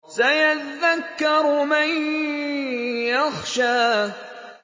سَيَذَّكَّرُ مَن يَخْشَىٰ